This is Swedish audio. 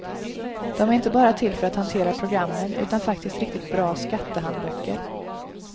De är inte bara till för att hantera programmen utan faktiskt riktigt bra skattehandböcker.